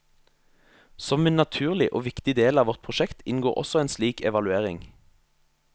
Som en naturlig og viktig del av vårt prosjekt inngår også en slik evaluering.